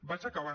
vaig acabant